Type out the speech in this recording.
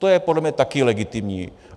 To je podle mě taky legitimní.